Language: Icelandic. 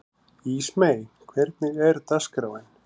Ísmey, hvernig er dagskráin?